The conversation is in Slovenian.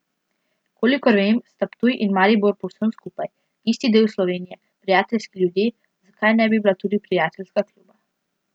Kolikor vem, sta Ptuj in Maribor povsem skupaj, isti del Slovenije, prijateljski ljudje, zakaj ne bi bila tudi prijateljska kluba.